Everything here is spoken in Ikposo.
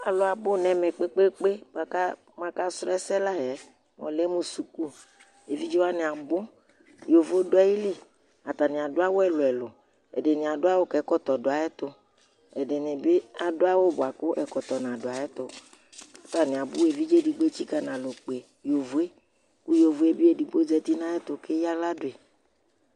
alʋ abʋ nɛmɛ kpɛ kpɛ mʋ aka srɔɛsɛ la yɛ ɔlɛ mʋ sukʋ ɛvidzɛ wani abʋ yovo dʋ ayili atani abʋ ɛdini bi awʋ bʋakʋ ɛkɔtɔ na dʋ ayɛtʋ kʋ atani abʋ kʋ ɛvidzɛ di ɛtsika na lɔ kpɛ yovoɛ ku yovoɛ eidigbo zɛti nʋ ayɛtʋ kʋ ɛyala dʋi